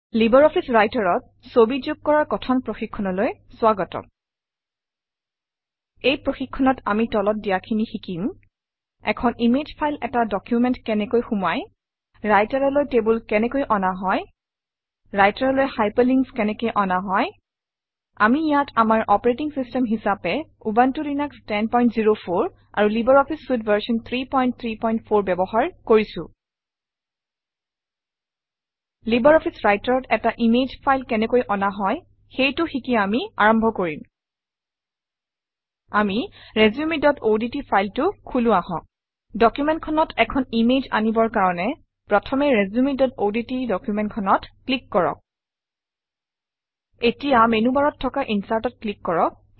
Libre office Writer অত ছবি যোগ কৰাৰ কথন প্ৰশিক্ষণলৈ স্বাগতম এই প্ৰশিক্ষণত আমি তলত দিয়াখিনি শিকিম - এখন ইমেজ ফাইল এটা ডকুমেণ্টত কেনেকৈ সুমুৱাই ৰাইটাৰলৈ টেবুল কেনেকৈ অনা হয় ৰাইটাৰলৈ হাইপাৰলিংকছ কেনেকৈ অনা হয় আমি ইয়াত আমাৰ অপাৰেটিং চিষ্টেম হিচাপে উবুনটো লিনাস 1004 আৰু লাইব্ৰঅফিছ চুইতে ভাৰ্চন 334 ব্যৱহাৰ কৰিছোঁ লাইব্ৰঅফিছ Writer অত এটা ইমেজ ফাইল কেনেকৈ অনা হয় সেইটো শিকি আমি আৰম্ভ কৰিম আমি resumeঅডট ফাইলটো খোলো আহক ডকুমেণ্টখনত এখন ইমেজ আনিবৰ কাৰণে প্ৰথমতে resumeঅডট ডকুমেণ্টখনত ক্লিক কৰক এতিয়া মেনুবাৰত থকা Insert অত ক্লিক কৰক